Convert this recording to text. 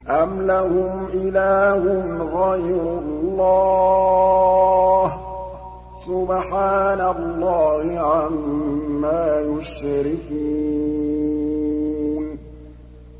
أَمْ لَهُمْ إِلَٰهٌ غَيْرُ اللَّهِ ۚ سُبْحَانَ اللَّهِ عَمَّا يُشْرِكُونَ